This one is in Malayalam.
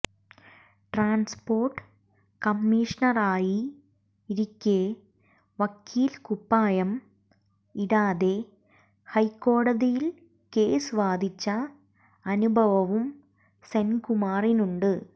ട്രാൻസ്പോർട്ട് കമ്മീഷണറായിരിക്കെ വക്കീൽ കുപ്പായം ഇടാതെ ഹൈക്കോടതിയിൽ കേസ് വാദിച്ച അനുവഭവും സെൻകുമാറിനുണ്ട്